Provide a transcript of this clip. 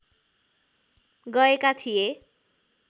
गएका थिए